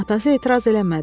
Atası etiraz eləmədi.